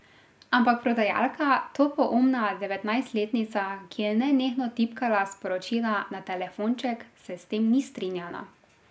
Ampak prodajalka, topoumna devetnajstletnica, ki je nenehno tipkala sporočila na telefonček, se s tem ni strinjala.